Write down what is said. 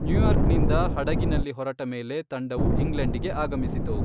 ನ್ಯೂಯಾರ್ಕ್ನಿಂದ ಹಡಗಿನಲ್ಲಿ ಹೊರಟ ಮೇಲೆ ತಂಡವು ಇಂಗ್ಲೆಂಡಿಗೆ ಆಗಮಿಸಿತು.